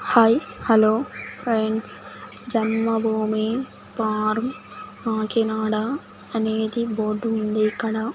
hi hello friends Janmabhoomi పారం కాకినాడ అనేది board ఉంది ఇక్కడ --